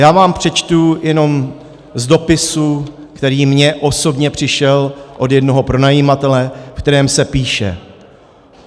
Já vám přečtu jenom z dopisu, který mně osobně přišel od jednoho pronajímatele, ve kterém se píše: